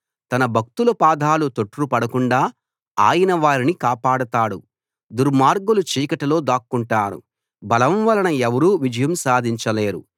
తన భక్తుల పాదాలు తొట్రుపడకుండా ఆయన వారిని కాపాడతాడు దుర్మార్గులు చీకటిలో దాక్కొంటారు బలం వలన ఎవరూ విజయం సాధించలేరు